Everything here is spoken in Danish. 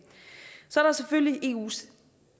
så er der selvfølgelig eus